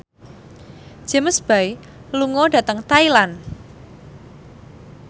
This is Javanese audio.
James Bay lunga dhateng Thailand